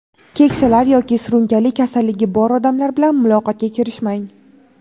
keksalar yoki surunkali kasalligi bor odamlar bilan muloqotga kirishmang.